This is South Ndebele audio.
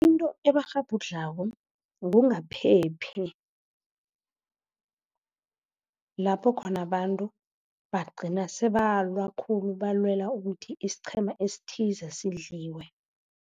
Into ebakghabhudlhako kungaphephi, lapho khona abantu bagcina sebalwa khulu, balwela ukuthi isiqhema esithize sidliwe.